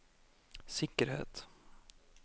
sikkerhet